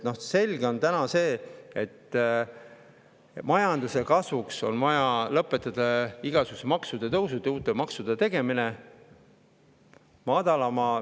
Selge on see, et majanduse kasvuks on vaja lõpetada igasuguste maksutõusude ja uute maksude tegemine.